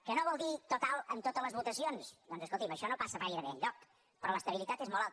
que no vol dir total en totes les votacions doncs escolti això no passa gairebé enlloc però l’estabilitat és molt alta